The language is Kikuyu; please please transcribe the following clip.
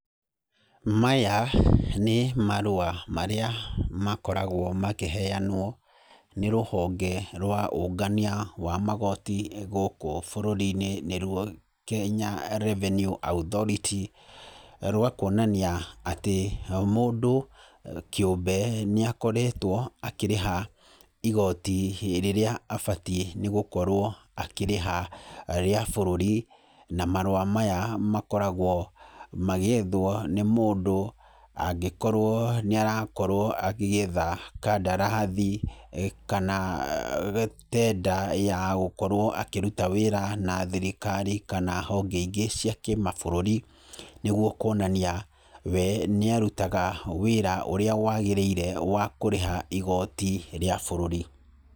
Maya nĩ marũa marĩa makoragwo makĩheanwo nĩ rũhonge rwa ũngania wa magooti gũkũ bũrũri-inĩ nĩruo Kenya Revenue Authority. Rwa kuonania atĩ mũndũ kĩũmbe nĩ akoretwo akĩrĩha igooti rĩrĩa abatie nĩ gũkorwo akĩrĩha rĩa bũrũri. Na marũa maya makoragwo magĩethwo nĩ mũndũ, angĩkorwo nĩ arakorwo agĩetha kandarathi kana tender ya gũkorwo akĩruta wĩra na thirikari kana honge ingĩ cia kĩmabũrũri, nĩguo kuonania we nĩ arutaga wĩra ũrĩa wagĩrĩire wa kũrĩha igooti rĩa bũrũri.